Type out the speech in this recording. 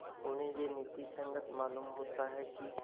उन्हें यह नीति संगत मालूम होता है कि